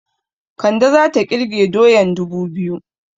Kande zata ƙirge doyan dubu biyu